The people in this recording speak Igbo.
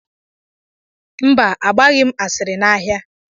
Mba, angbaghị m asịrị n'ahịa.